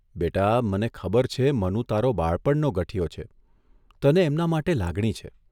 'બેટા, મને ખબર છે મનુ તારો બાળપણનો ગઠિયો છે, તને એમના માટે લાગણી છે.